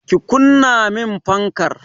Ki kunna min fankar!